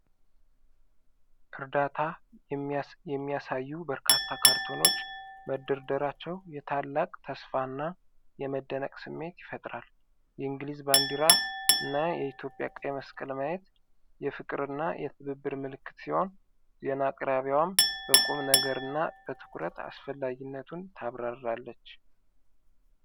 እርዳታ የሚያሳዩ በርካታ ካርቶኖች መደረደራቸው የታላቅ ተስፋና የመደነቅ ስሜት ይፈጥራል። የእንግሊዝ ባንዲራ እና የኢትዮጵያ ቀይ መስቀል ማየት የፍቅርና የትብብር ምልክት ሲሆን፣ ዜና አቅራቢዋም በቁም ነገርና በትኩረት አስፈላጊነቱን ታብራራለች።